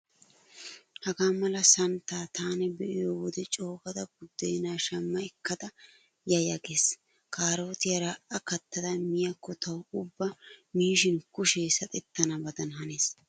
Hagaa mala santtaa taani be'iyo wode coogada buddeenaa shamma ekkada yaya gees. Kaarootiyaara a kattada miyaakko tawu ubba miishin kushee saxettanabadan hanees.